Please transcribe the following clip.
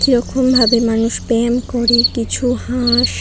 কিরকম ভাবে মানুষ প্রেম করে কিছু হাঁ-আস--